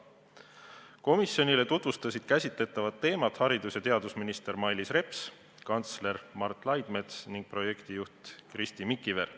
Komisjonile tutvustasid käsitletavat teemat haridus- ja teadusminister Mailis Reps, kantsler Mart Laidmets ning projektijuht Kristi Mikiver.